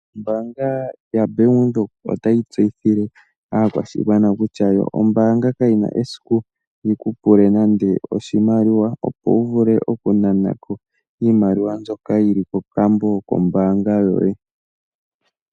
OBank Windhoek otayi tseyithile aakwashigwana kutya, ombaanga kayi na esiku yi ku pule oshimaliwa, opo wu vule okunana ko iimaliwa komayalulo goye gombaanga.